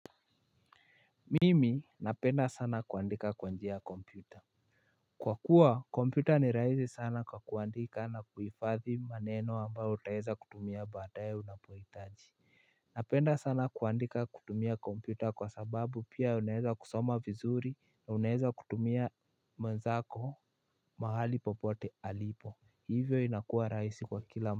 Mimi napenda sana kuandika kwa njia ya kompyuta kwa kuwa kompyuta ni rahisi sana kwa kuandika na kuhifadhi maneno ambayo utaeza kutumia baadaye unapohitaji napenda sana kuandika kutumia kompyuta kwa sababu pia unaeza kusoma vizuri na unaeza kutumia mwenzako mahali popote alipo hivyo inakuwa rahisi kwa kila.